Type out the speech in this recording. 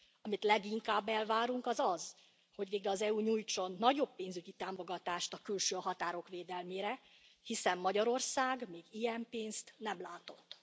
Amit leginkább elvárunk, az az, hogy végre az EU nyújtson nagyobb pénzügyi támogatást a külső határok védelmére, hiszen Magyarország még ilyen pénzt nem látott.